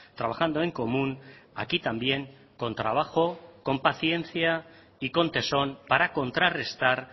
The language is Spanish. trabajando en común aquí también con trabajo con paciencia y con tesón para contrarrestar